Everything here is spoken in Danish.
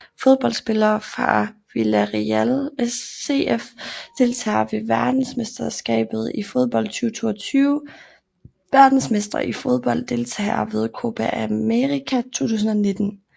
Fodboldspillere fra Villarreal CF Deltagere ved verdensmesterskabet i fodbold 2022 Verdensmestre i fodbold Deltagere ved Copa América 2019